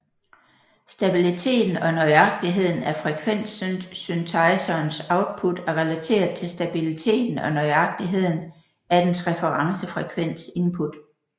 Stabiliteten og nøjagtigheden af frekvenssynteserens output er relateret til stabiliteten og nøjagtigheden af dens referencefrekvens input